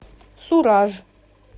сураж